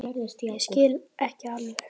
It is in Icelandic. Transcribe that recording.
Ég skil ekki alveg